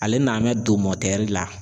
Ale na bɛ don la.